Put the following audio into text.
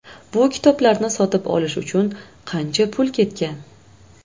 Bu kitoblarni sotib olish uchun qancha pul ketgan.